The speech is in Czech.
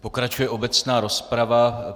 Pokračuje obecná rozprava.